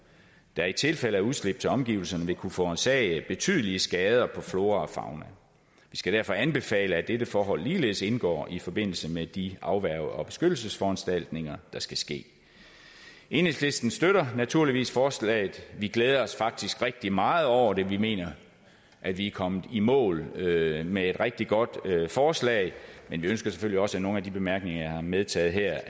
der i tilfælde af udslip til omgivelserne vil kunne forårsage betydelige skader på flora og fauna vi skal derfor anbefale at dette forhold ligeledes indgår i forbindelse med de afværge og beskyttelsesforanstaltninger der skal ske enhedslisten støtter naturligvis forslaget vi glæder os faktisk rigtig meget over det vi mener at vi er kommet i mål med med et rigtig godt forslag men vi ønsker selvfølgelig også at nogle af de bemærkninger som jeg har medtaget her